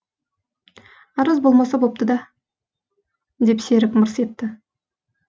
арыз болмаса бопты да деп серік мырс етті